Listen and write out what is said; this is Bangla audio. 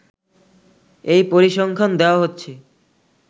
এই পরিসংখ্যান দেওয়া হচ্ছে